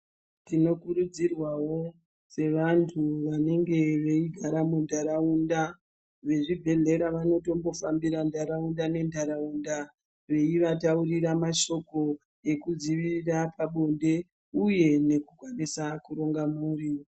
Tino kurudzirwawo sevantu vanenge veigara mundaraunda vezvibhedhlera vanotombo fambira ndaraunda nendaraunda vanenge veigara mundaraunda vezvibhedhlera vanotombo fambira ndaraunda nendaraunda veivataurira mashoko ekuvadzivirira pabonde uye nekukwanisa kuronga mhuri.